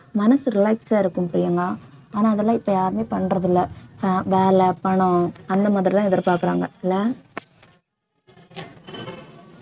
மனசு relax ஆ இருக்கும் பிரியங்கா ஆனா அதெல்லாம் இப்ப யாருமே பண்றது இல்லை ஆஹ் வேலை பணம் அந்த மாதிரிதான் எதிர்பார்க்கிறாங்க இல்லை